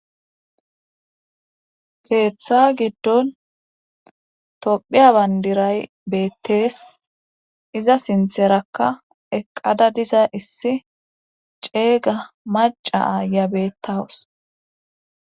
Keeththa giddon tophiya bandiray beettees iza sintherakka eqqada diza issi ceeyga maca aaya bettawus.